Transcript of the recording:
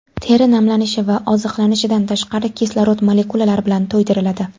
Teri namlanishi va oziqlanishidan tashqari kislorod molekulalari bilan to‘ydiriladi.